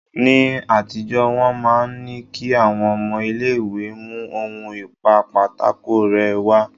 Ni àtijọ́ wọ́n máa ń ní kí àwọn ọmọ ilé ìwé mú ohun ìpa pátákó rẹ́ wá.